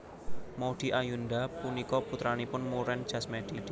Maudy Ayunda punika putranipun Muren Jasmedi